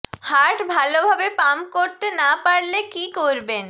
heart ভাল ভাবে pump করতে না পারলে কী করবেন